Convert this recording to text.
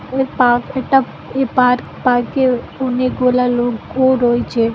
Park এটা এ park park -এ অনেক গুলা লোগও রয়েছে।